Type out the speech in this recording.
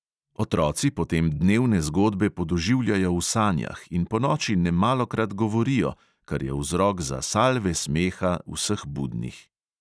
Otroci potem dnevne zgodbe podoživljajo v sanjah in ponoči nemalokrat govorijo, kar je vzrok za salve smeha vseh budnih.